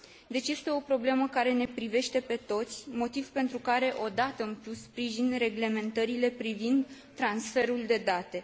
Deci, este o problemă care ne privește pe toți, motiv pentru care, o dată în plus, sprijin reglementările privind transferul de date.